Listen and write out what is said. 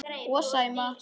Og Sæma.